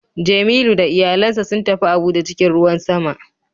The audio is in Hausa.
Jemilu da iyalansa sun tafi Abuja cikin ruwan sama